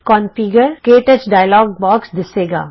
configure ਕੇ touch dialog box ਦਿਸੇਗਾ